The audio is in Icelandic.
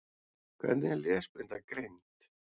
Hvernig er lesblinda greind?